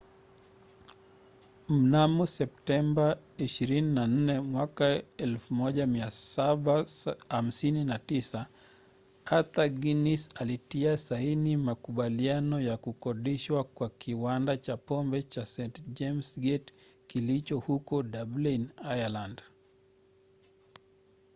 mnamo september 24 1759 arthur guinness alitia saini makubaliano ya kukodishwa kwa kiwanda cha pombe cha st james' gate kilicho huko dublin ireland